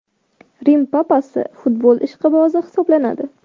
Rim Papasi futbol ishqibozi hisoblanadi.